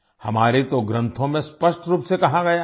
हमारे तो ग्रंथों में स्पष्ट रूप से कहा गया है